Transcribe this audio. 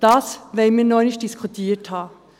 – Das wollen wir nochmals diskutiert haben.